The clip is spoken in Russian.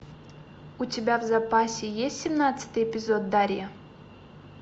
у тебя в запасе есть семнадцатый эпизод дарья